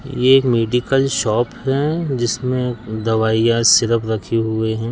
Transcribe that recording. यह medical shop है जिसमें दवाइयां सिरप रखे हुए हैं।